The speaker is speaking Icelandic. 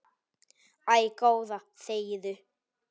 Æ, góða þegiðu.